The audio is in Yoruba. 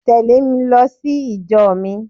Tèlé mi lo sí ìjo mi